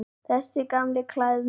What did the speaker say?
Þessi gamli klæðnaður.